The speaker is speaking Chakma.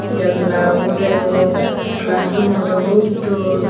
janala bow degong class roommow dow hoob dol.